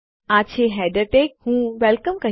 આ છે header tag હું વેલકમ